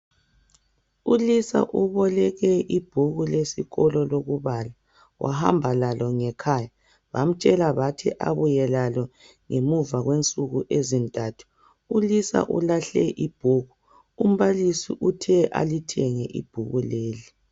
ULisa uboleke ibhuku lesikolo lokubala wahamba lalo ngekhaya. Bamtshela bathi abuye lalo ngemuva kwensuku ezintathu. ULisa ulahle ibhuku, umbalisi uthe alithenge ibhuku leli.